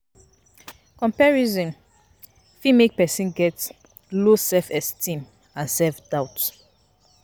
Comparison fit make person get low self esteem and self doubt